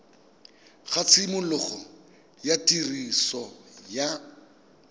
ga tshimologo ya tiriso ya